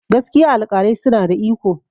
gaskiya alƙalai suna da iko